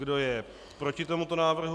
Kdo je proti tomuto návrhu?